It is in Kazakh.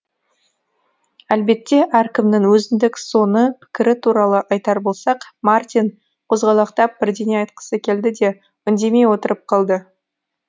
әлбетте әркімнің өзіндік соны пікірі туралы айтар болсақ мартин қозғалақтап бірдеңе айтқысы келді де үндемей отырып қалды